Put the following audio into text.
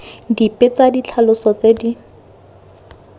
dipe tsa ditlhaloso tse di